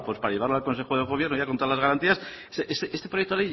pues para llevarlo al consejo de gobierno ya con todas las garantías este proyecto